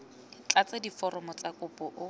tlatse diforomo tsa kopo o